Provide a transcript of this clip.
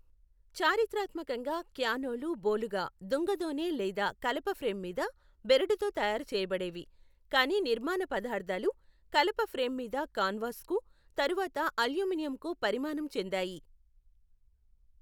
చారిత్రాత్మకంగా, క్యానోలు బోలుగా దుంగ దోనె లేదా కలప ఫ్రేమ్ మీద బెరడుతో తయారు చేయబడేవి, కానీ నిర్మాణ పదార్థాలు కలప ఫ్రేమ్ మీద కాన్వాస్కు, తరువాత అల్యూమినియంకు పరిణామం చెందాయి.